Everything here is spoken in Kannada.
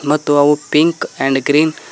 ಮತ್ತು ಅವು ಪಿಂಕ್ ಅಂಡ್ ಗ್ರೀನ್ --